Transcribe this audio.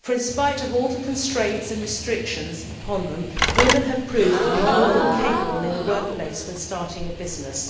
for in spite of all the constraints and restrictions upon them, women have proved to be more than capable in the workplace when starting a business.